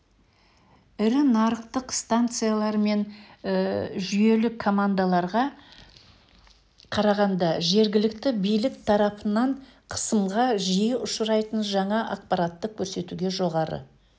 ірі нарықтық станциялар мен жүйелік командаларға қарағанда жергілікті билік тарапынан қысымға жиі ұшырайтын жаңа ақпаратты көрсетуде жоғары